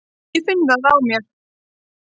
Ég finn það á mér.